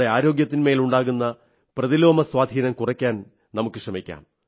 ആരോഗ്യത്തിന്മേലുണ്ടാകുന്ന പ്രതിലോമ സ്വാധീനം കുറയ്ക്കുവാൻ നമുക്കു ശ്രമിക്കാം